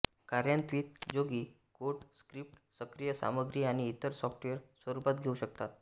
कार्यान्वीतजोगी code script सक्रिय सामग्री आणि इतर सॉफ्टवेअर स्वरूपात घेऊ शकता